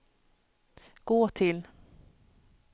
gå till